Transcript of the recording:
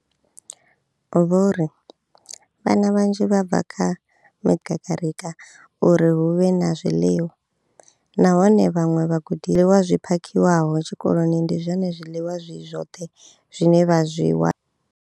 Vho ri, Vhana vhanzhi vha bva kha kakarika uri hu vhe na zwiḽiwa, nahone kha vhaṅwe vhagudiswa, zwi phakhiwaho tshikoloni ndi zwone zwi zwoṱhe zwine vha zwi wana.